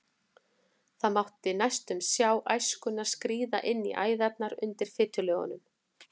Það mátti næstum sjá æskuna skríða inn í æðarnar undir fitulögunum.